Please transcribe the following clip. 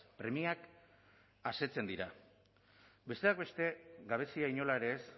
premiak asetzen dira besteak beste gabezia inola ere ez